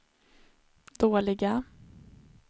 dåliga